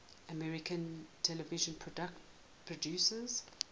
american television producers